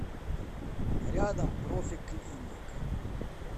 рядом профи клиник